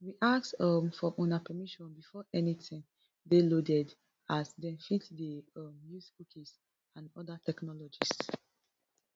we ask um for una permission before anytin dey loaded as dem fit dey um use cookies and oda technologies